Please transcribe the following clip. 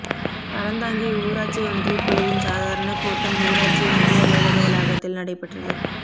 அறந்தாங்கி ஊராட்சி ஒன்றியக்குழுவின் சாதாரணக் கூட்டம் ஊராட்சி ஒன்றிய அலுவலக வளாகத்தில் நடைபெற்றது